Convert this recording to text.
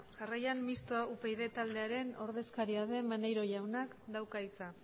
jarraian mistoa upyd taldearen ordezkaria den maneiro jaunak dauka hitza